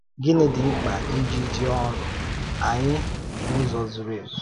Gịnị dị mkpa iji jee ọ́rụ anyị n’ụzọ zuru ezu?